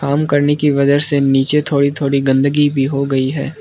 काम करनी की वजह से नीचे थोड़ी थोड़ी गंदगी भी हो गई है।